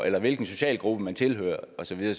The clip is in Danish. eller hvilken socialgruppe man tilhører og så videre